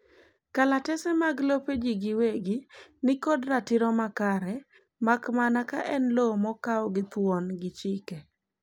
kalatese mag lope jii giwegi nikod ratiro makare makmana ka en lowo mokao gi thuon gi chike